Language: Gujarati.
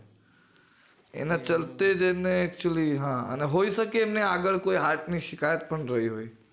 એને actually હા અને હોય સખે અમને આગળ કોઈ heart ની શિકાયત પણ રય હોય